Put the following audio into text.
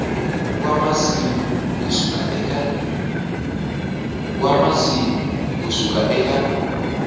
wa masiku ku suka eka